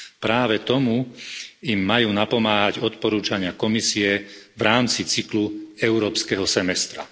Práve tomu im majú napomáhať odporúčania Komisie v rámci cyklu európskeho semestra.